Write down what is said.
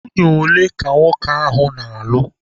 Nwunye ole ka nwoke ahụ na-alụ?